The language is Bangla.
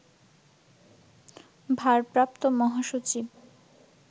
ভারপ্রাপ্ত মহাসচিব